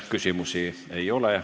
Küsimusi ei ole.